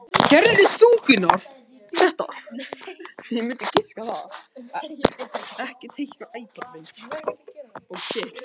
Hún var það og er.